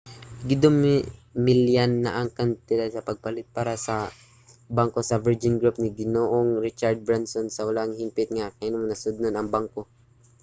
gidumilian na ang kantidad sa pagpalit para sa bangko sa virgin group ni ginoong richard branson sa wala pa hingpit nga nahimong nasudnon ang bangko